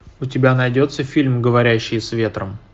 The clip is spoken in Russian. у тебя найдется фильм говорящие с ветром